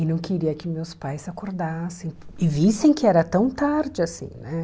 E não queria que meus pais acordassem e vissem que era tão tarde assim, né?